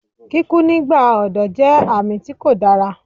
Kíkú nígbà ọ̀dọ́ jẹ́ àmì tí kò dára